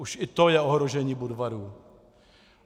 Už i to je ohrožení Budvaru.